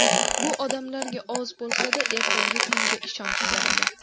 Bu odamlarga oz bo‘lsa-da, ertangi kunga ishonch beradi.